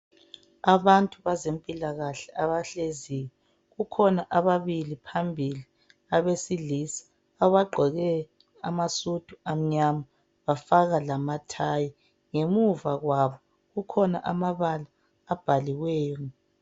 Abantu bezempilakahle abahleziyo kukhona ababili phambili abesilisa abagqoke amasudu amnyama bafaka labontanjana ngemuva kwabo kukhona amabala abhaliweyo.